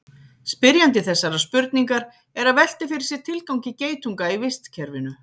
Spyrjandi þessarar spurningar er að velta fyrir sér tilgangi geitunga í vistkerfinu.